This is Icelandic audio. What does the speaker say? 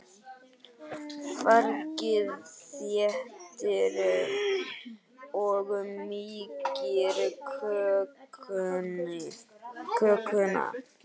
Fargið þéttir og mýkir kökuna.